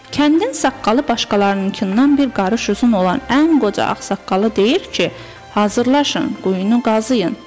Kəndin saqqalı başqalarınkından bir qarış uzun olan ən qoca ağsaqqalı deyir ki, hazırlaşın, quyunu qazıyın.